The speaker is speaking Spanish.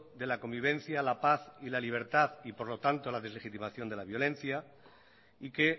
de la convivencia la paz y la libertad y por lo tanto a la deslegitimación de la violencia y que